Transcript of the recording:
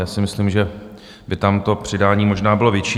Já si myslím, že by tam to přidání možná bylo větší.